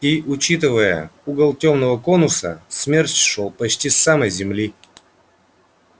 и учитывая угол тёмного конуса смерч шёл почти с самой земли